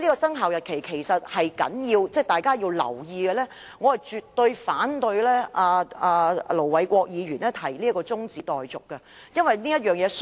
生效日期是重要的，大家應當留意，所以我絕對反對盧偉國議員的中止待續議案。